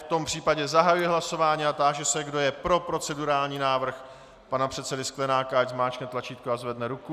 V tom případě zahajuji hlasování a táži se, kdo je pro procedurální návrh pana předsedy Sklenáka, ať zmáčkne tlačítko a zvedne ruku.